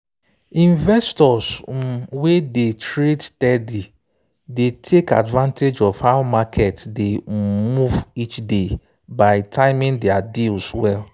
investors um wey dey trade steady dey take advantage of how market dey um move each day by timing their deals well.